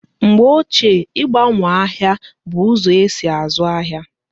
Mgbe ochie, igbanwo ahịa bụ ụzọ esi azụ ahịa